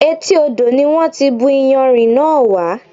Etí odò ni wọn ti bù iyanrìn náà wá.